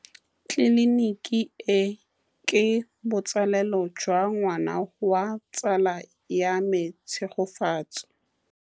Tleliniki e, ke botsalêlô jwa ngwana wa tsala ya me Tshegofatso.